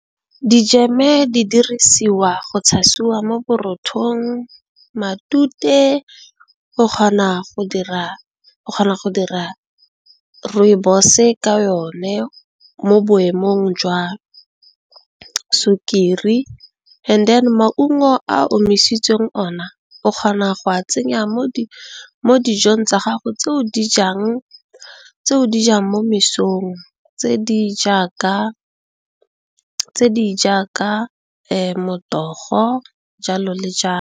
Dijeme di dirisiwa go tshasiwa mo borothong, matute o kgona go dira Rooibos ka yone mo boemong jwa sukiri, and then maungo a a omisitsweng ona o kgona go a tsenya mo dijong tsa gago tseo di jang mo mesong tse di jaaka motogo jalo le jalo.